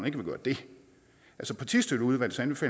ikke vil gøre det altså partistøtteudvalgets